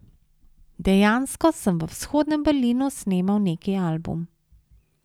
Dejansko sem v Vzhodnem Berlinu snemal neki album.